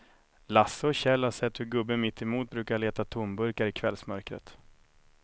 Lasse och Kjell har sett hur gubben mittemot brukar leta tomburkar i kvällsmörkret.